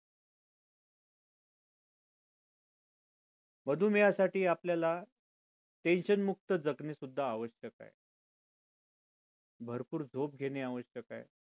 मधुमेहासाठी आपल्याला tension मुक्त जगणे सुद्धा आवश्यक आहे भरपूर झोप घेणे आवश्यक आहे